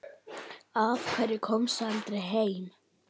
Af hverju komstu aldrei heim?